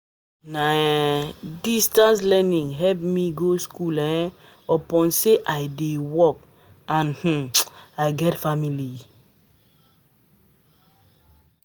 Na um distance learning help me go skool um upon sey I dey work and um I get family.